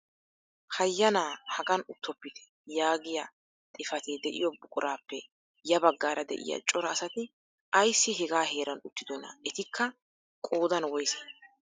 "Hayyanaa hagaan uttopitte! " yaagiyaa xifaatee de'iyoo buquraappe ya baggaara de'iyaa cora asati aysi hegaa heran uttidonaa? etikka qoodan woysee?